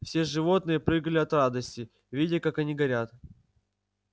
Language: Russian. все животные прыгали от радости видя как они горят